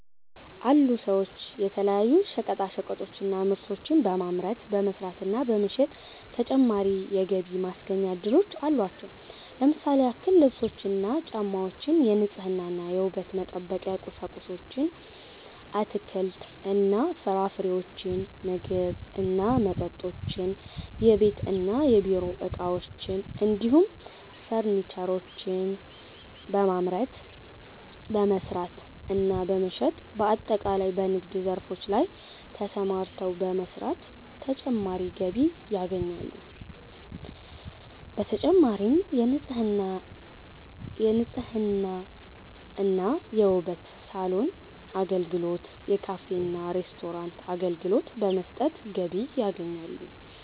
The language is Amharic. አሉ ሰዎች የተለያዩ ሸቀጣሸቀጦችን እና ምርቶችን በማምረት፣ በመስራት እና በመሸጥ ተጨማሪ የገቢ ማስገኛ እድሎች አሏቸው። ለምሳሌ ያክል ልብሶችን እና ጫማወችን፣ የንጽህና እና የውበት መጠበቂያ ቁሳቁሶችን፣ አትክልት እና ፍራፍሬዎችን፣ ምግብ እና መጠጦችን፣ የቤት እና የቢሮ እቃዎችን እንዲሁም ፈርኒቸሮችን በማምረት፣ በመስራት እና በመሸጥ በአጠቃላይ በንግድ ዘርፎች ላይ ተሰማርተው በመስራት ተጨማሪ ገቢ ያገኛሉ። በተጨማሪም የንጽህና እና የውበት ሳሎን አገልግሎት፣ የካፌ እና ሬስቶራንት አገልግሎት በመስጠት ገቢ ያገኛሉ።